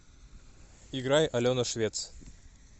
играй алена швец